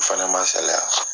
O fana ma n salaya.